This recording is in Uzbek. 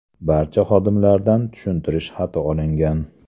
Barcha xodimlardan tushuntirish xati olingan.